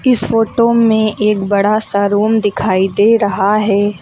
इस फोटो में एक बड़ा सा रूम दिखाई दे रहा है।